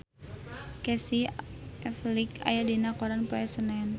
Casey Affleck aya dina koran poe Senen